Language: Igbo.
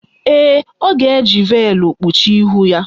Ee, ọ ga-eji veelụ kpuchie ihu ya.